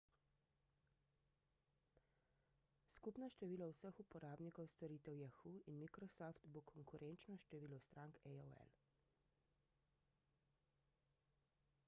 skupno število vseh uporabnikov storitev yahoo in microsoft bo konkurenčno številu strank aol